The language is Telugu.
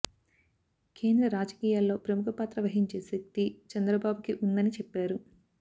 కేంద్ర రాజకీయాలలో ప్రముఖ పాత్ర వహించే శక్తి చంద్రబాబుకి ఉందని చెప్పారు